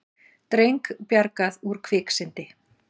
Dreng bjargað úr kviksyndi